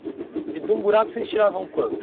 E de um buraco vocês tiravam quanto?